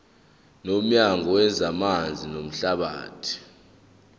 nomnyango wezamanzi namahlathi